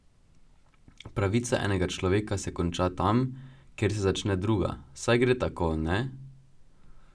Pravica enega človeka se konča tam, kjer se začne druga, saj gre tako, ne?